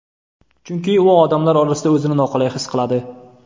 Chunki u odamlar orasida o‘zini noqulay his qiladi.